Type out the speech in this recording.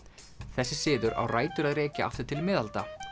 þessi siður á rætur að rekja aftur til miðalda